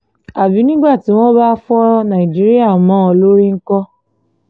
àbí nígbà tí wọ́n bá fọ nàìjíríà mọ́ ọn lórí ńkọ́